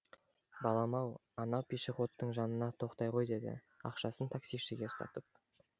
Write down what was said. балам ау анау пешоходтың жанына тоқтай ғой деді ақшасын таксишіге ұстатып